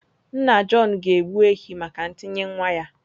Nna John ga-egbu ehi maka ntinye nwa